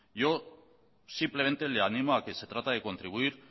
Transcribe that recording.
yo simplemente le animo a que se trata de contribuir